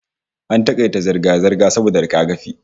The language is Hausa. AN takaita zirga-zirga saboda rigakafi